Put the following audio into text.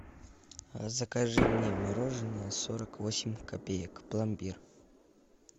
закажи мне мороженое сорок восемь копеек пломбир